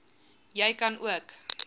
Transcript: jy kan ook